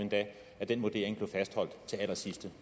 den vurdering blev endda fastholdt til allersidste